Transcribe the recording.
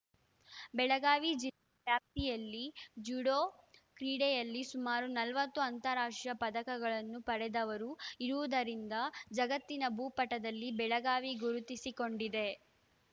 ಬೆಳಗಾವಿ ಜಿಲ್ಲಾ ವ್ಯಾಪ್ತಿಯಲ್ಲಿ ಜುಡೋ ಕ್ರೀಡೆಯಲ್ಲಿ ಸುಮಾರು ನಲವತ್ತು ಅಂತಾರಾಷ್ಟ್ರೀಯ ಪದಕಗಳನ್ನು ಪಡೆದವರು ಇರುವುದರಿಂದ ಜಗತ್ತಿನ ಭೂಪಟದಲ್ಲಿ ಬೆಳಗಾವಿ ಗುರುತಿಸಿಕೊಂಡಿದೆ